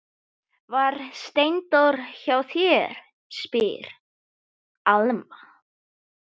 Var Steindór hjá þér, spyr Alma.